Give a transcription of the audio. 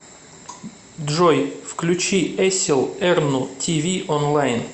джой включи эсил эрну ти ви онлайн